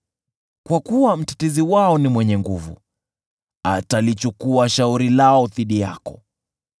kwa kuwa Mtetezi wao ni mwenye nguvu, atalichukua shauri lao dhidi yako.